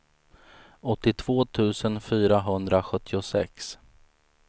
åttiotvå tusen fyrahundrasjuttiosex